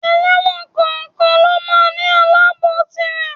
Ẹlẹ́wọ̀n kọ̀ọ̀kan lọ máa ń ní Aláàbòò tirè.